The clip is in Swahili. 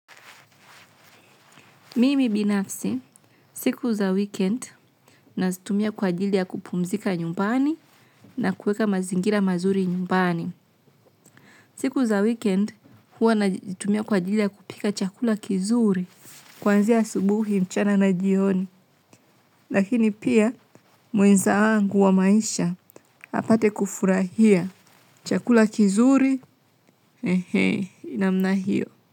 Mimi binafsi, siku za weekend, nazitumia kwa ajili ya kupumzika nyumbani na kueka mazingira mazuri nyumbani. Siku za weekend, huwa nazitumia kwa ajili ya kupika chakula kizuri. Kuanzia asubuhi mchana na jioni. Lakini pia, mwenza wangu wa maisha, apate kufurahia. Chakula kizuri, he he, namna hiyo.